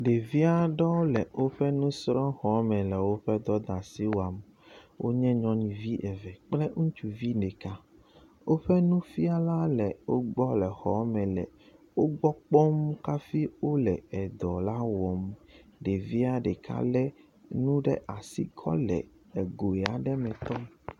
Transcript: Deviaɖewo le wóƒe nusrɔ xɔme le wóƒe dɔdasi wam wonye nyɔnuve eve kple ŋutsuvi neka wóƒe nufiala le wogbɔ le xɔɔme le wogbɔ kpɔm kafi wóle edɔ la wɔm ɖevia ɖeka le enu ɖasi kɔle egoe aɖe me tɔm